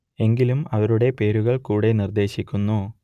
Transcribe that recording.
എങ്കിലും അവരുടെ പേരുകൾ കൂടെ നിർദ്ദേശിക്കുന്നു